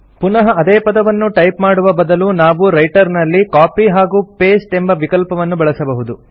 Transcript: ಪುನಃ ಅದೇ ಪದವನ್ನು ಟೈಪ್ ಮಾಡುವ ಬದಲು ನಾವು ರೈಟರ್ ನಲ್ಲಿ ಕಾಪಿ ಹಾಗೂ ಪಾಸ್ಟೆ ಎಂಬ ವಿಕಲ್ಪವನ್ನು ಬಳಸಬಹುದು